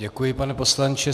Děkuji, pane poslanče.